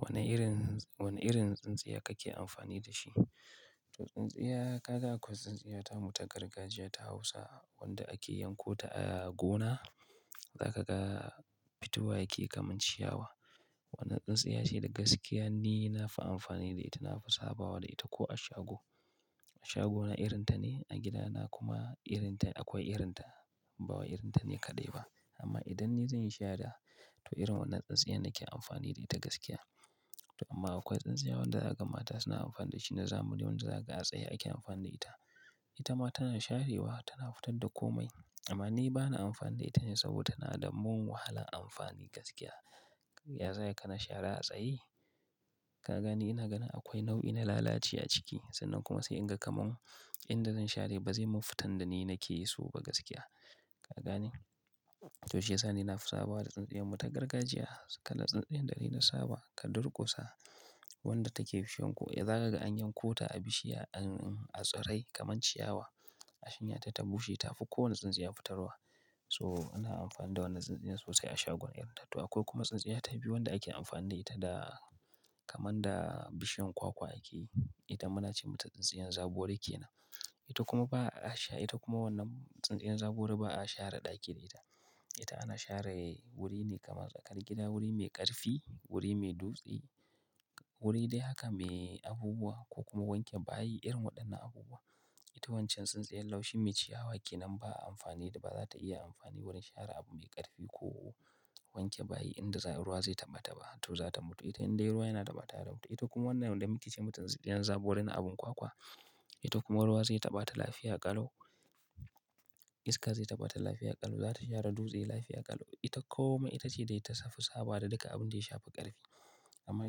Wane irin, wane irin tsintsiya kake amfani da shi? To tsintsiya, kaga akwai tsintsiya tamu ta gargajiya ta Hausa wanda ake yankota a gona, za ka ga fitowa yake kaman ciyawa. Wannan tsintsiya shine gaskiya ni na fi amfani da ita, nafi sabawa da ita ko a shago. A shagona irinta ne, a gidana kuma irinta, akwai irinta, bawa irinta ne kadai ba. Amma idan ni zan yi shara to irin wannan tsintsiya ne nake amfani da ita gaskiya. To amma akwai tsintsiya wanda yakamata suna amfani da shi na zamani, wanda zaga ka a tsaye ake amfani da ita. Ita ma tana sharewa, tana fitar da komai. Amma ni bana amfani da ita ne saboda tana da mun wahalan amfani gaskiya. Ya za yi ka na shara a tsaye? Ka gani ina ganin akwai nau'i na lalaci a ciki sannan kuma sai in ga kamun in da zan share ba zai mun fitar da ni nake so ba gaskiya. Ka gani? To shiyasa ni nafi sabawa da tsintsiya mu ta gargajiya, kala da dai na saba ka durkusa wanda take bishiyar ko za ka an yankota a bishiya, a tsirai kamar ciyawa a shinya ta ta bushe ta fi kowane tsintsiya fitarwa. To ana amfani da wannan tsintsiya sosai a shagon iyarta. To akwai kuma tsintsiya ta biyu wanda ake amfani da ita da kamar da bishiyan kwakwa ake. Ita muna ce mata tsintsiyan zagori ke nan. Ita kuma ba a, a sha, ita kuma wannan tsintsiya zagori ba a share ɗaki da ita. Ita ana share wuri ne kamar tsakar gida, wuri mai ƙarfi, wuri mai dutse, wuri dai haka me abubuwa ko kuma wanke bayi irin waɗannan abubuwa. Ita wancan tsintsiya laushin mai ciyawa ke nan ba a amfani da, ba za ta iya amfani wurin share abu mai ƙarfi ko wanke bayi inda ruwa zai taɓa ta ba to za ta mutu. Ita indai ruwa yana da mata yana mutu. Ita kuma wannan yanda muke ce mutum tsintsiya zagori na abun kwakwa. Ita kuma ruwa zai taɓa ta lafiya ƙalo, iska zai taɓa ta lafiya ƙalo, za ta share dutse lafiya ƙalo. Ita kome ita ce da ita safi sabawa da duka abun da ya shafi ƙarfi. Amma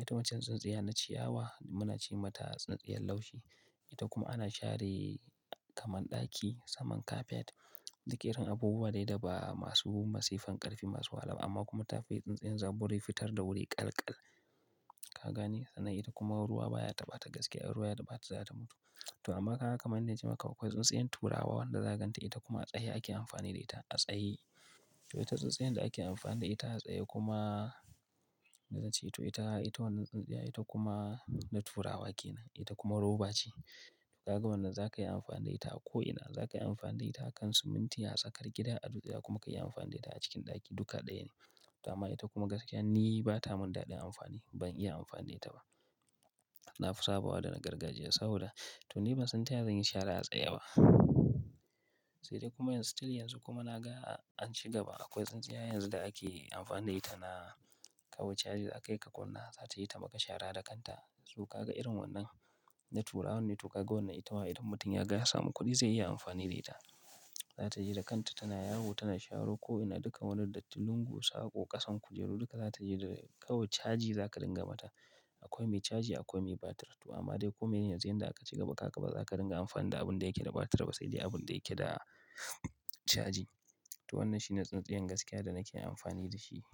ita wancan tsintsiya na ciyawa muna ce mata tsintsiya laushi. Ita kuma ana share kamar ɗaki, saman kafet, duk irin abubuwa dai da ba masu masifan ƙarfi masu alam amma kuma ta fi tsintsiya zagori fitar da wuri ƙalkal. Ka gani? Sannan ita kuma ruwa baya taɓa ta gaskiya, ruwa ya daɓata za ta mutu. To amma kaga kaman dai ce maka akwai tsintsiya turawa wanda zaganta ita kuma a tsaye ake amfani da ita, a tsaye. To ita tsintsiya da ake amfani da ita a tsaye kuma ni zance to ita, ita wannan tsintsiya ita kuma na turawa ke nan. Ita kuma roba ce. Ka ga wannan za ka yi amfani da ita a ko'ina. Za ka yi amfani da ita a kan siminti, a tsakar gida, a dutse kuma ka yi amfani da ita a cikin ɗaki duka ɗaya ne. To amma ita kuma gaskiya ni ba ta mun daɗin amfani, ban iya amfani da ita ba. Nafi sabawa da na gargajiya saboda to ni ban san taya zan yi shara a tsaye ba. Sai dai kuma still yanzu kuma na ga an shiga ba akwai tsintsiya yanzu da ake amfani da ita na kawo caji za ka kai ka kunna za ta yi ta maka shara da kanta. To ka ga irin wannan na turawa ne to ka ga wannan ita wa idan mutum ya ga ya samu kuɗi zai iya amfani da ita. Za ta yi da kanta tana yawo, tana sharo ko'ina duka wani datti lungu, sako, ƙasan kujeru duka za ta yi da kawai caji za ka dinga mata. Akwai mai caji akwai mai batir. To amma dai komai ne yanzu inda aka shiga maka kaka ba za ka dinga amfani da abun da yake da batir ba sai dai abun da yake da caji. To wannan shine tsintsiya gaskiya da nake amfani da shi.